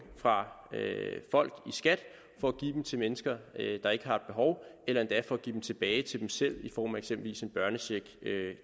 fra folk i skat for at give dem til mennesker der ikke har behov eller endda for at give dem tilbage til dem selv i form af eksempelvis en børnecheck